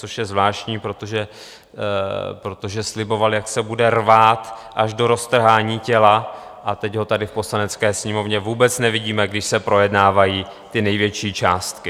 Což je zvláštní, protože sliboval, jak se bude rvát až do roztrhání těla, a teď ho tady v Poslanecké sněmovně vůbec nevidíme, když se projednávají ty největší částky.